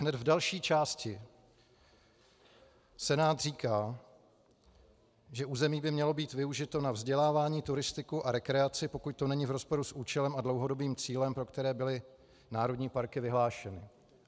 Hned v další části Senát říká, že území by mělo být využito na vzdělávání, turistiku a rekreaci, pokud to není v rozporu s účelem a dlouhodobým cílem, pro které byly národní parky vyhlášeny.